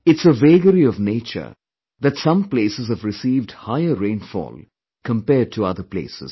It's a vagary of Nature that some places have received higher rainfall compared to other places